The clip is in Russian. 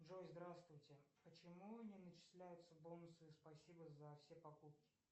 джой здравствуйте почему не начисляются бонусы спасибо за все покупки